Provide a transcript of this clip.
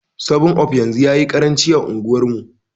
7up yanzu yayi karanci a unguwar mu